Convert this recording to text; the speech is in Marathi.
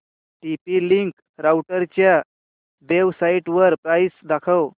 टीपी लिंक राउटरच्या वेबसाइटवर प्राइस दाखव